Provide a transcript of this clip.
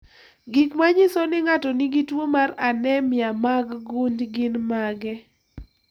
Gik manyiso ni ng'ato nigi tuwo mar anemia mar gund gin mage?